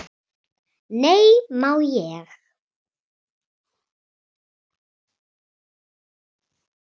"""Nei, má ég!"""